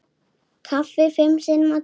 Kaffi fimm sinnum á dag.